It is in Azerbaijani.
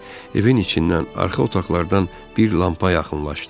Evin içindən arxa otaqlardan bir lampa yaxınlaşdı.